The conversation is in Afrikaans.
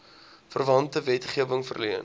verwante wetgewing verleen